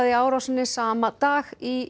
árásinni sama dag í